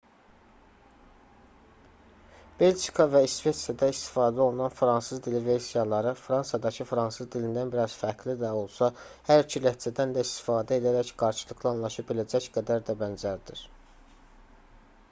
belçika və i̇sveçrədə istifadə olunan fransız dili versiyaları fransadakı fransız dilindən bir az fərqli də olsa hər iki ləhcədən də istifadə edərək qarşılıqlı anlaşa biləcək qədər də bənzərdir